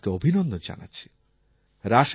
আমি এই মতকে অভিনন্দন জানাচ্ছি